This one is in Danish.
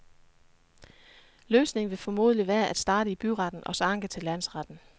Løsningen vil formentlig være at starte i byretten og så anke til landsretten.